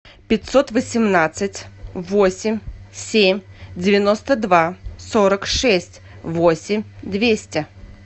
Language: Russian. пятьсот восемнадцать восемь семь девяносто два сорок шесть восемь двести